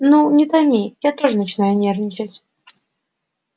ну не томи я тоже начинаю нервничать